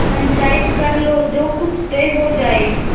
पंचायत कर लो जो कुछ तय हो जाय